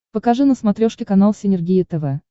покажи на смотрешке канал синергия тв